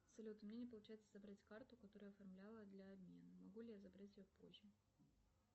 салют у меня не получается забрать карту которую я оформляла для обмена могу ли я забрать ее позже